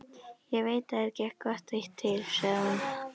Ég veit að þér gekk gott eitt til, sagði hún.